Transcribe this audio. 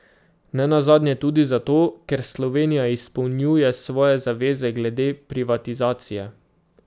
Nenazadnje tudi zato, ker Slovenija izpolnjuje svoje zaveze glede privatizacije.